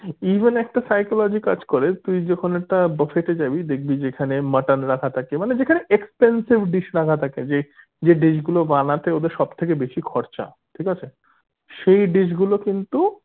even একটা psychology কাজ করে তুই যখন একটা buffet এ যাবি দেখবি যেখানে mutton রাখা থাকে মানে যেখানে expensive dish রাখা থাকে যে যে dish গুলো বানাতে ওদের সব থেকে বেশি খরচা ঠিক আছে সেই dish গুলো কিন্তু